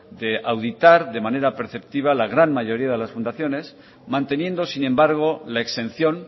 de auditar de manera perceptiva la gran mayoría de las fundaciones manteniendo sin embargo la exención